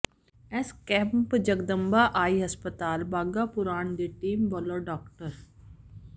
ਇਸ camp Jagdamba eye ਹਸਪਤਾਲ ਬਾਘਾ ਪੁਰਾਣਾ ਦੀ ਟੀਮ ਵੱਲੋਂ ਡਾ